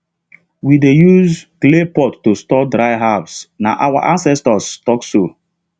we dey use clay pot to store dried herbs na our ancestors talk so